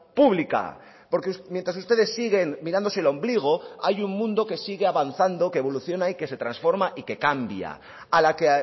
pública porque mientras ustedes siguen mirándose el ombligo hay un mundo que sigue avanzando que evoluciona y que se transforma y que cambia a la que